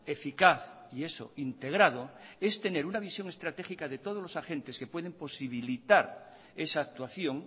eficaz y eso integrado es tener una visión estratégica de todos los agentes que pueden posibilitar esa actuación